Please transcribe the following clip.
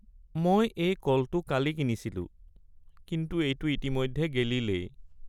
মই এই কলটো কালি কিনিছিলোঁ কিন্তু এইটো ইতিমধ্যে গেলিলেই।